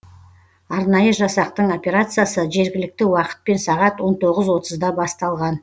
арнайы жасақтың операциясы жергілікті уақытпен сағат он тоғыз отызда басталған